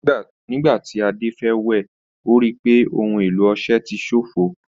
Nígbà tí Ade fẹ́ wẹ̀, ó rí i pé ohun èlò ọṣẹ ti ṣofo.